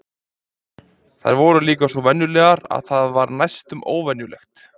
En þær voru líka svo venjulegar að það var næstum óvenjulegt.